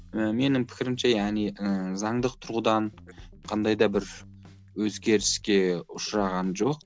ы менің пікірімше яғни ы заңдық тұрғыдан қандай да бір өзгеріске ұшыраған жоқ